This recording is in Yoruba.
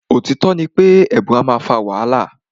Òtítọ́ ní pé èèbu a máà fà wàhálà.